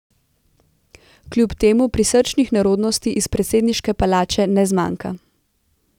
Kljub temu prisrčnih nerodnosti iz predsedniške palače ne zmanjka.